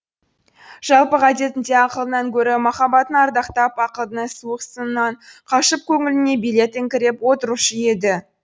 жалпы ғадетінде ақылынан гөрі махаббатын ардақтап ақылдың суық сынынан қашып көңіліне билет іңкіреп отырушы еді